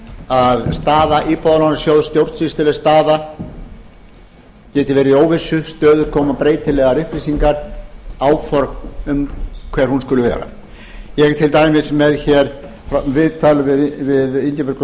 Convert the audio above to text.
að staða stjórnsýsluleg staða íbúðalánasjóð geti verið í óvissu stöðugt koma breytilegar upplýsingar áform um hver hún skuli vera ég er til dæmis með viðtal við ingibjörgu